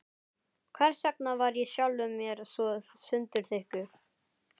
Hversvegna var ég sjálfum mér svo sundurþykkur?